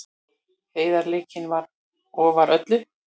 Heiðarleikinn var ofar öllu.